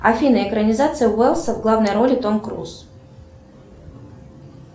афина экранизация уэллса в главной роли том круз